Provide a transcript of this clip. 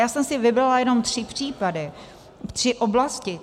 Já jsem si vybrala jenom tři případy, tři oblasti.